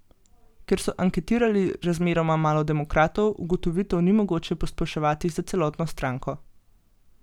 Ker so anketirali razmeroma malo demokratov, ugotovitev ni mogoče posploševati za celotno stranko.